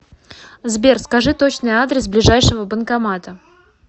сбер скажи точный адрес ближайшего банкомата